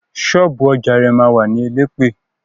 Ṣọ́ọ̀bú ọjà rẹ̀ ma wà ní Elẹ́pẹ̀.